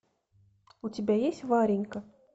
у тебя есть варенька